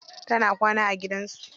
Tana kwana a gidan su.